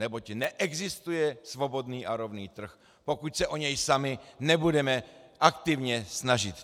Neboť neexistuje svobodný a rovný trh, pokud se o něj sami nebudeme aktivně snažit.